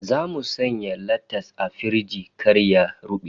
Zamu sanya latas a firiji kar ya rube